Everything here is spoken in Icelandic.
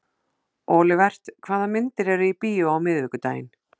Olivert, hvaða myndir eru í bíó á miðvikudaginn?